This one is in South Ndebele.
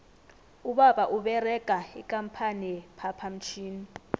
ubaba uberega ikampani ye phaphamtjhini